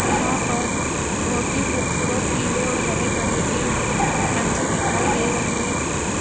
यहां पर बहोत ही खूबसूरत पीले और हरे करे के पंछी दिखाई दे रहे हैं।